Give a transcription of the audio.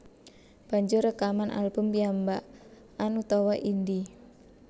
Banjur rékaman album piyambakan utawa indhie